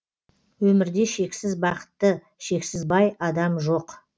өмірде шексіз бақытты шексіз бай адам жоқ